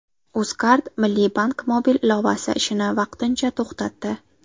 UzCard Milliy bank mobil ilovasi ishini vaqtincha to‘xtatdi.